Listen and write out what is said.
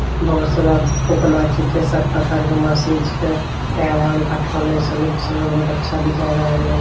बहुत सारा फुकना छीकए सब प्रकार का मशीन छीके नया-नया बहुत अच्छा दिखाया गए रहलन |